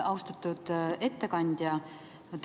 Austatud ettekandja!